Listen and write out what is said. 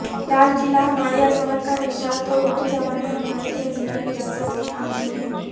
لال قلعہ ہماری عظمت کا نشاں تو اردو زبان ہماری تہذیبی وراثت کی امین ہے